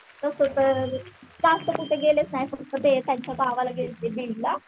कुठेतर जास्त कुठे गेलेच नाही फक्त ते त्याच्या गावाला गेलते बीड ला